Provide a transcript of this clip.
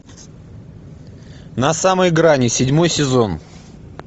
на самой грани седьмой сезон